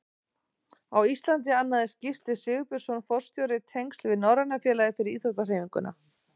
Á Íslandi annaðist Gísli Sigurbjörnsson forstjóri tengsl við Norræna félagið fyrir íþróttahreyfinguna.